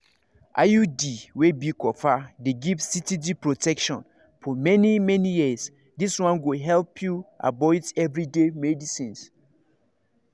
iud wey be copper dey give steady protection for many-many years this one go help you avoid everyday medicines.